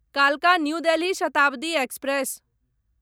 कालका New Delhi Shatabdi express